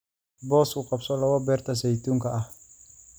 Boos u qabso labo beerta saytuunka ah